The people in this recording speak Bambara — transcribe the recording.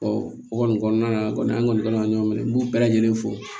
o kɔni kɔnɔna na kɔni an kɔni ka kan ka ɲɔgɔn minɛ n b'u bɛɛ lajɛlen fo